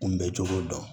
Kunbɛcogo dɔn